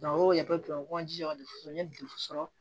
o de bɛ kɔn de sɔrɔ